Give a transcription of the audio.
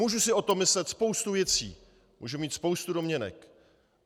Můžu si o tom myslet spoustu věcí, můžu mít spoustu domněnek.